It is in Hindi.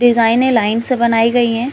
डिजाइनें लाइन से बनायीं गयी है।